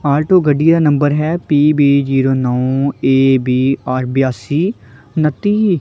Alto ਗੱਡੀ ਦਾ number ਹੈ ਪੀ_ਬੀ ਜੀਰੋ ਨੌ ਏ ਬੀ ਆਰ ਬਯਾਸੀ ਉਨੱਤੀ।